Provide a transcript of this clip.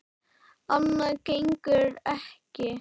Annað gengur ekki.